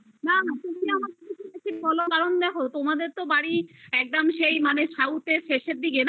না না তুমি বলোনা কারণ দেখো তোমাদের তো বাড়ি একদম south এর শেষের দিকে না